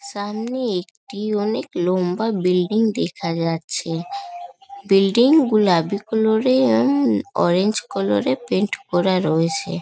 সামনে একটি অনেক লম্বা বিল্ডিং দেখা যাচ্ছে বিল্ডিং গুলা অরেঞ্জ কালার - এর পেইন্ট করা রয়েছে ।